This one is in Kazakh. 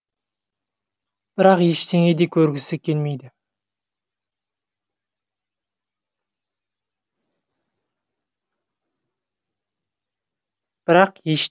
бірақ ештеңені де көргісі келмейді